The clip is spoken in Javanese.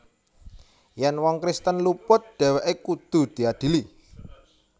Yèn wong Kristen luput dhèwèké kudu diadili